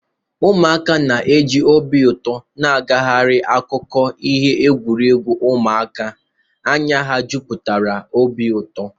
Ụmụaka na-eji obi ụtọ na-agagharị n'akụkụ ihe egwuregwu ụmụaka, anya ha juputara n'obi ụtọ